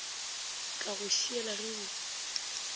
ka go šiela ge o